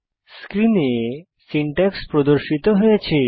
স্ক্রিনে সিনট্যাক্স প্রদর্শিত হয়েছে